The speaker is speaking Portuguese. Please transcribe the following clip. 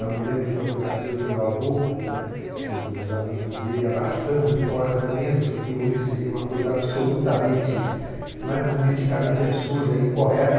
Eu me lembro de fotografias do meu avô, né e dos amigos dele abraçando toras imensas, o que hoje seria uma coisa absolutamente não é? politicamente absurda e incorreta.